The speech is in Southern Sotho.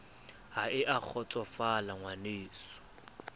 ha e a kgotsosofala ngwaneso